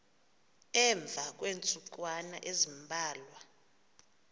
emva kweentsukwana ezimbalwa